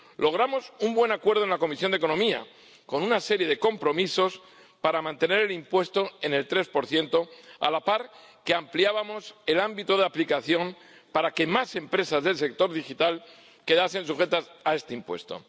Logramos un buen acuerdo en la Comisión de Asuntos Económicos, con una serie de compromisos para mantener el impuesto en el 3 a la par que ampliábamos el ámbito de aplicación para que más empresas del sector digital quedasen sujetas a este impuesto.